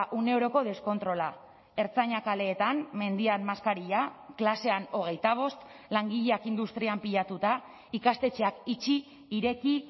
une oroko deskontrola ertzainak kaleetan mendian maskarilla klasean hogeita bost langileak industrian pilatuta ikastetxeak itxi ireki